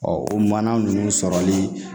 o mana ninnu sɔrɔli